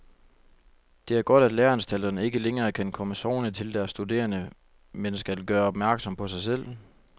Det er godt, at læreanstalterne ikke længere kan komme sovende til deres studerende, men skal gøre opmærksom på sig selv.